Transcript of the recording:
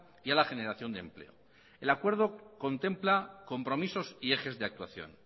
y a la generación de empleo el acuerdo contempla compromisos y ejes de actuación